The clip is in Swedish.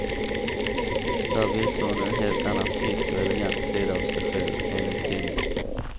Där visar hon en helt annan frisk och elegant sida av sig själv, enligt tidningen.